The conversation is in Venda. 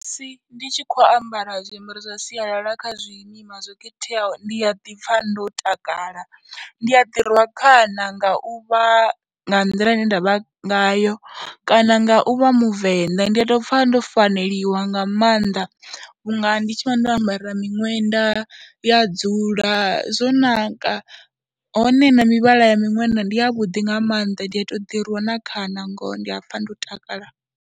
Musi ndi tshi khou ambara zwiambaro zwa sialala kha zwimima zwo khetheaho ndi ya ḓi pfha ndo takala, ndi a ḓi rwa khana nga u vha nga nḓila ine nda vha ngayo kana nga u vha Muvenda. Ndi a tou pfha ndo faneliwa nga mannḓa vhunga ndi tshi vha ndo ambara miṅwenda ya dzula zwo naka hone na mivhala ya miṅwenda ndi yavhuḓi nga maanḓa, ndi a tou ḓirwa na khana ngoho ndi a pfha ndo takala.